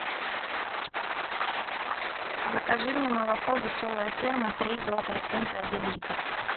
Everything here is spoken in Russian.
закажи мне молоко веселая ферма три и два процента один литр